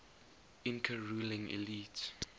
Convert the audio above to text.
inca ruling elite